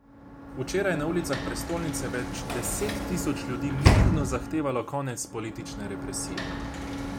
Včeraj je na ulicah prestolnice več deset tisoč ljudi mirno zahtevalo konec politične represije.